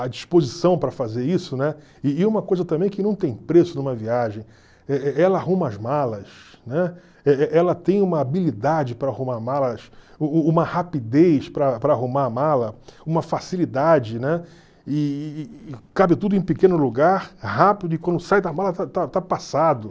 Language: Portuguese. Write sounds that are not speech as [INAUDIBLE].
a disposição para fazer isso, né, e e uma coisa também que não tem preço numa viagem, [UNINTELLIGIBLE] ela arruma as malas, né [UNINTELLIGIBLE] ela tem uma habilidade para arrumar malas, [UNINTELLIGIBLE] uma rapidez para para arrumar a mala, uma facilidade, né, e cabe tudo em pequeno lugar, rápido, e quando sai da mala está está está passado.